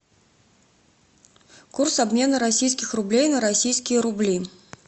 курс обмена российских рублей на российские рубли